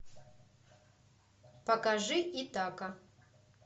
покажи итака